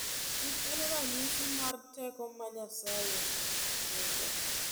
Kich en ranyisi mar teko ma Nyasaye nigo.